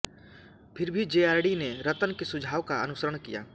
फिर भी जेआरडी ने रतन के सुझाव का अनुसरण किया